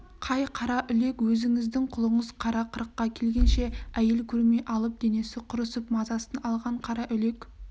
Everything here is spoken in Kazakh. қай қараүлек өзіңіздің құлыңыз қара қырыққа келгенше әйел көрмей алып денесі құрысып мазасын алған қараүлек